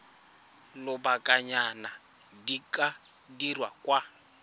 lobakanyana di ka dirwa kwa